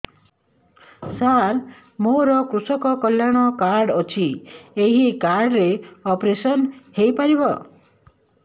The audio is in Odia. ସାର ମୋର କୃଷକ କଲ୍ୟାଣ କାର୍ଡ ଅଛି ଏହି କାର୍ଡ ରେ ଅପେରସନ ହେଇପାରିବ